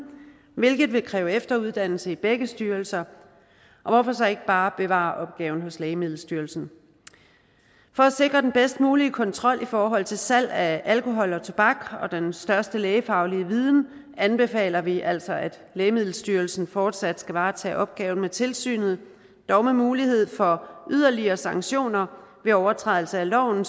hvilket vil kræve efteruddannelse i begge styrelser og hvorfor så ikke bare bevare opgaven hos lægemiddelstyrelsen for at sikre den bedst mulige kontrol i forhold til salg af alkohol og tobak og den største lægefaglige viden anbefaler vi altså at lægemiddelstyrelsen fortsat skal varetage opgaven med tilsynet dog med mulighed for yderligere sanktioner ved overtrædelse af loven